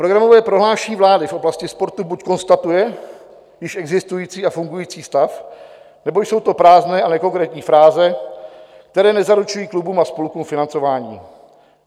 Programové prohlášení vlády v oblasti sportu buď konstatuje již existující a fungující stav, nebo jsou to prázdné a nekonkrétní fráze, které nezaručují klubům a spolkům financování.